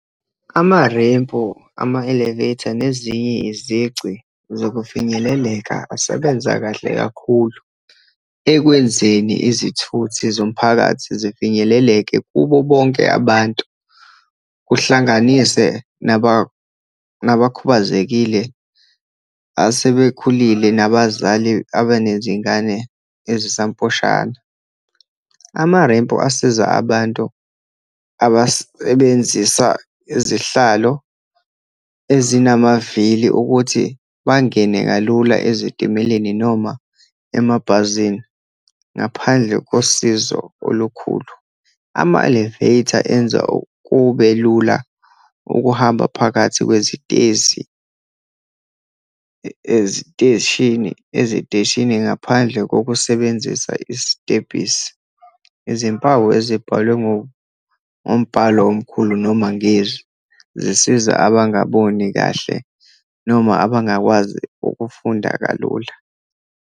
Amarempu, ama-elevator, nezinye izici zokufinyeleleka asebenza kahle kakhulu ekwenzeni izithuthi zomphakathi zifinyeleleke kubo bonke abantu, kuhlanganise nabakhubazekile, asebekhulile, nabazali abanezingane ezisamposhana. Amarempu asiza abantu abasebenzisa izihlalo ezinavili ukuthi bangene kalula ezitimeleni, noma emabhazini ngaphandle kosizo olukhulu. Ama-elevator enza kube lula ukuhamba phakathi kwezitezi, eziteshini, eziteshini ngaphandle kokusebenzisa isitebhisi. Izimpawu ezibhalwe ngombhalo omkhulu noma ngezwi, zisiza abangaboni kahle, noma abangakwazi ukufunda kalula.